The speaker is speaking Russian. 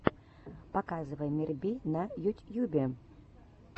показывай мирби на ютьюбе